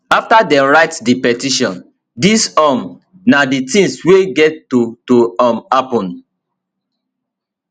afta dem write di petition dis um na di tins wey get to to um happun